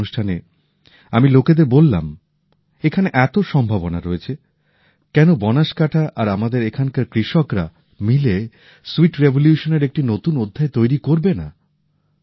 সেই অনুষ্ঠানে আমি লোকেদের বললাম এখানে এত সম্ভাবনা রয়েছে কেন বনসকান্থা আর আমাদের এখানকার কৃষকরা মিলে স্যুইট রিভোলিউশনের একটি নতুন অধ্যায় তৈরি করবে না